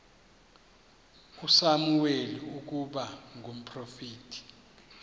usamuweli ukuba ngumprofeti